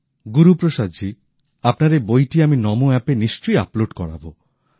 গুরুপ্রসাদজী আপনার এই বইটি আমি নমো আপেও নিশ্চয় আপলোড করাব